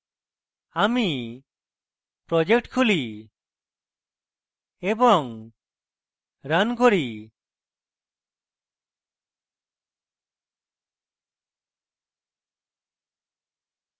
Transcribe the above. আমি project খুলি এবং রান করি